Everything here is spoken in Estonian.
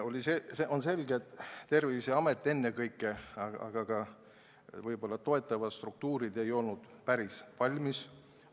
On selge, et ennekõike Terviseamet, aga võib-olla ka toetavad struktuurid ei olnud päris valmis.